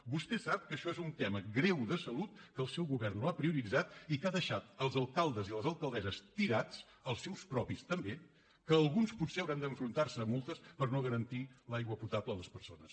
vostè sap que això és un tema greu de salut que el seu govern no ha prioritzat i que ha deixat els alcaldes i les alcaldesses tirats els seus propis també que alguns potser hauran d’enfrontar se a multes per no garantir l’aigua potable a les persones